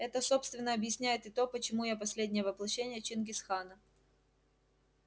это собственно объясняет и то почему я последнее воплощение чингисхана